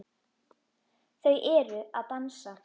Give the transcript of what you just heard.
Þau eru að dansa